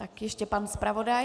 Tak ještě pan zpravodaj.